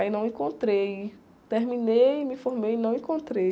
Aí não encontrei, terminei, me formei e não encontrei.